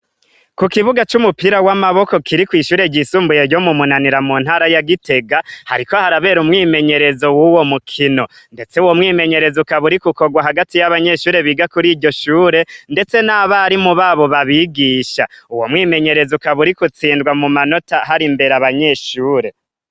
Ku kibuga c'umupira w'amaboko kiri kw'ishure ryisumbuye ryo mu munanira mu ntara ya gitega hariko harabera umwimenyerezo w'uwo mukino, ndetse wo mwimenyereza ukaburi ko ukorwa hagati y'abanyeshure biga kuri iryo shure, ndetse n'abari mu babo babigisha uwo mwimenyereza ukaburik utsindwa mu manota hari imbere abanyeshure.